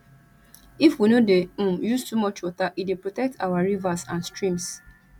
if we no dey um use too much water e dey protect our rivers and streams